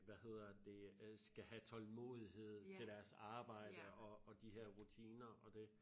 Hvad hedder det øh skal have tålmodighed til deres arbejde og og de her rutiner og det